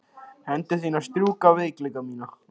Hendur þínar strjúka veikleika mína.